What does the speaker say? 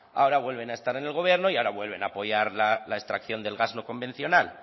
ahora vuelven a estar en el gobierno y ahora vuelven apoyar la extracción del gas no convencional